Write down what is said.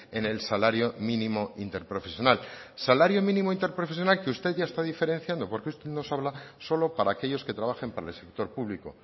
en el salario mínimo interprofesional salario mínimo interprofesional que usted ya está diferenciando porque usted nos habla solo para aquellos que trabajen para el sector público